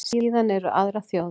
Síðan eru aðrar þjóðir.